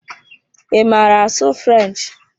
Ị maara asụ French?